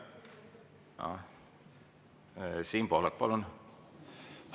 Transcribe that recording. Siim Pohlak, palun!